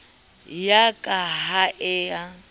ya ka ha e a